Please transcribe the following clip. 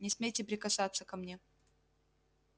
не смейте прикасаться ко мне